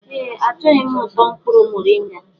Ee, Achọghị m ụtọ mkpụrụ moringa.